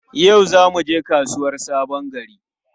Yau za mu je kasuwar Sabon Gari?